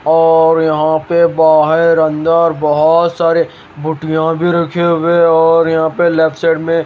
और यहां पे बाहेर अंदर बहोत सारे बोटियां भी रखे हुए और यहां पे लेफ्ट साइड में --